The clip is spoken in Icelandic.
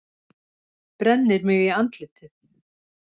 Brennir mig í andlitið.